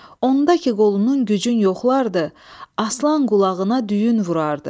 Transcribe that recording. Onda ki qolunun gücün yoxlardı, Aslan qulağına düyün vurardı.